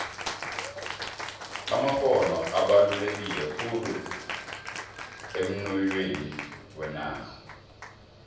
amakgono abaluleke khulu emnoyhweni wenarha